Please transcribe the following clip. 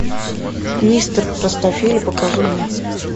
мистер простофиля покажи мне